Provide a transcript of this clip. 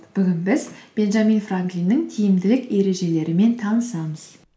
бүгін біз бенджамин франклиннің тиімділік ережелерімен танысамыз